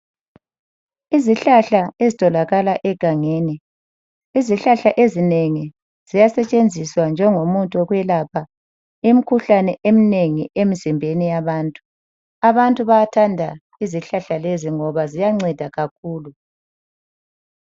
Izihlahla ezitholakala egangeni, izihlahla ezinengi ziyasetshenziswa njengomuthi wokwelapha imkhuhlane eminengi emzimbeni yabantu. Abantu bayathanda izihlahla lezi ngoba ziyanceda kakhulu.